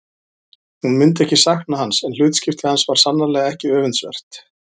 Hún myndi ekki sakna hans en hlutskipti hans var sannarlega ekki öfundsvert.